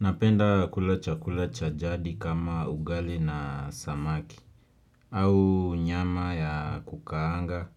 Napenda kula chakula cha jadi kama ugali na samaki, au nyama ya kukaanga